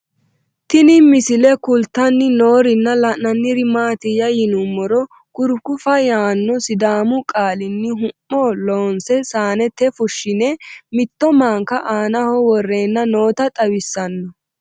Tinni misile kulittanni noorrinna la'nanniri maattiya yinummoro kurikufa yaanno sidaamu qaalinni hu'mmo loonsse saannette fushinne mitto manka aannaho worenna nootta xawissanno